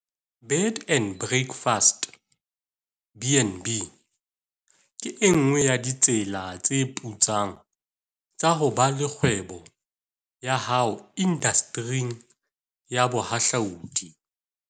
Bed and breakfast, BnB, ke e nngwe ya ditsela tse putsang tsa ho ba le kgwebo ya hao indastering ya bohahlaudi.